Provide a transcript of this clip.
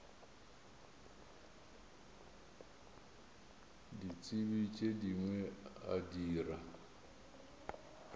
ditsebi tše dingwe a dira